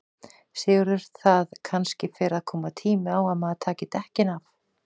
Sigurður: Það kannski fer að koma tími á að maður taki dekkin af?